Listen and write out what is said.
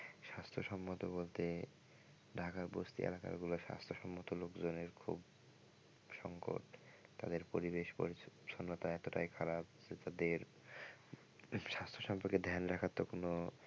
স্বাস্থ্যসম্মত বলতে ঢাকার বস্তি এলাকা গুলো স্বাস্থ্যসম্মত লোকজনই খুব সংকট তাদের পরিবেশ পরিছন্নতা এতটাই খারাপ যে তাদের স্বাস্থ্য সম্পর্কে ধান রাখার তো কোনো,